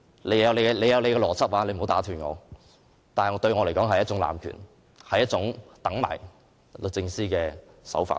你有你的邏輯，你不要打斷，但對我來說，這是一種濫權，是一種等待律政司的做事手法。